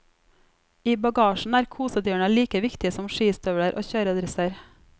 I bagasjen er kosedyrene like viktige som skistøvler og kjøredresser.